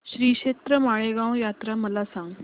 श्रीक्षेत्र माळेगाव यात्रा मला सांग